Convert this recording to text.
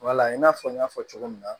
Wala in n'a fɔ n y'a fɔ cogo min na